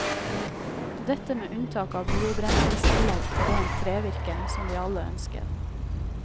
Dette med unntak av biobrenselsanlegg for rent trevirke, som vi alle ønsker.